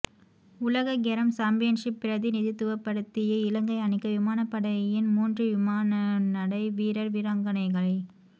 உலகக் carrom championship பிரதிநிதித்துவப்படுத்திய இலங்கை அணிக்கு விமானப்படையின் மூன்று விமான்னடை விரர் வீராங்களைகள்